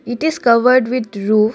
it is covered with roof.